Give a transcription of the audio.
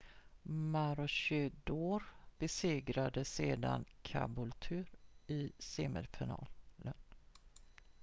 maroochydore besegrade sedan caboolture i semifinalen